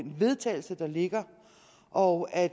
vedtagelse der ligger og at